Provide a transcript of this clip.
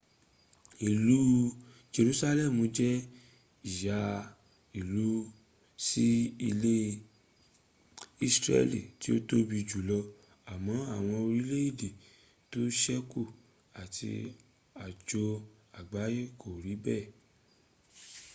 ilu jesusalemu je iya ilu si ile isreli ti o tobi julo, amo awon orileede to seku ati ajo agbaye ko ri bee